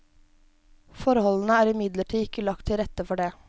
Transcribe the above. Forholdene er imidlertid ikke lagt til rette for det.